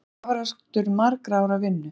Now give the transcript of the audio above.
Þetta er afrakstur margra ára vinnu?